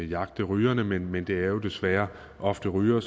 jagte rygerne men men det er jo desværre ofte rygere